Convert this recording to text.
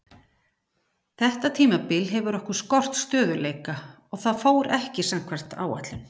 Þetta tímabil hefur okkur skort stöðugleika og það fór ekki samkvæmt áætlun.